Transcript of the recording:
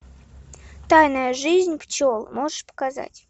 тайная жизнь пчел можешь показать